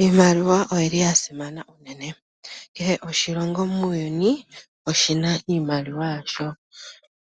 Iimaliwa oya simana uunene kehe oshilongo muuyuni oshi na iimaliwa yasho